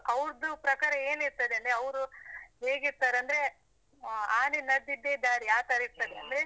ಅವ್ರುದು ಪ್ರಕಾರ ಏನ್ ಇರ್ತದೆ ಅಂದ್ರೆ, ಅವ್ರು ಹೇಗಿರ್ತಾರೆ ಅಂದ್ರೆ ಹ್ಮ್ ಆನೆ ನಡ್ಡಿದ್ದೇ ದಾರಿ ಆತರ ಇರ್ತದೆ ಅಂದ್ರೆ.